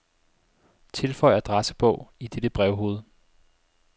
Tilføj adressebog i dette brevhoved.